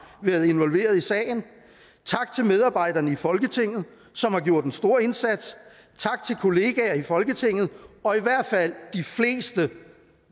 været involveret i sagen tak til medarbejderne i folketinget som har gjort en stor indsats tak til kollegaer i folketinget og i hvert fald de fleste